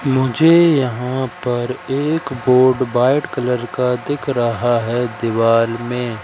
मुझे यहां पर एक बोर्ड व्हाइट कलर का दिख रहा है दीवाल में।